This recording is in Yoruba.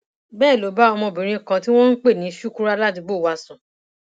bẹẹ ló bá ọmọbìnrin kan tí wọn ń pè ní shukura ládùúgbò wa sùn